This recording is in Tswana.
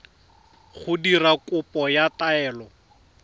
go dira kopo ya taelo